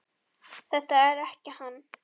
Er þetta ekki hann